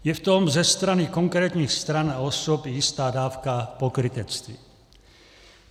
Je v tom ze strany konkrétních stran a osob jistá dávka pokrytectví.